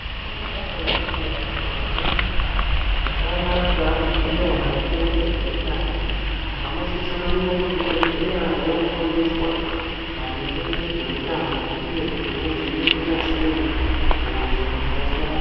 Ngendaa yekuti vantu vazhinji havana chavanoziya maringe ngezveutano. Vanosisa kuenda kuzvibhedhleya vofundiswa maringe ngezveutano, uye kuti vodzirira sei hosha dzakasiyana-siyana.